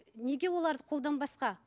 неге оларды қолданбасқа